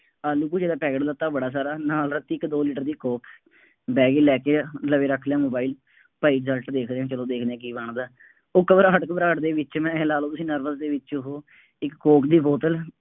ਆਲੂ ਭੂਜੀਆਂ ਦਾ ਪੈਕਟ ਲੀਤਾ ਬੜਾ ਸਾਰਾ, ਨਾਲ ਇੱਕ ਦੋ ਲੀਟਰ ਦੀ ਕੋਕ, ਬਹਿ ਗਏ ਲੈ ਕੇ ਯਾਰ ਹੁਣ, ਲਵੇਂ ਰੱਖ ਲਿਆ ਮੋਬਾਇਲ, ਭਾਈ result ਦੇਖਦੇ ਹਾਂ, ਚੱਲੋ ਦੇਖਦੇ ਹਾਂ ਕੀ ਬਣਦਾ, ਉਹ ਘਬਰਾਹਟ ਘਬਰਾਹਟ ਦੇ ਵਿੱਚ ਮੈਂ ਚਾਹੇ ਲਾ ਲਉ nervous ਦੇ ਵਿੱਚ ਉਹ ਇੱਕ ਕੋਕ ਦੀ ਬੋਤਲ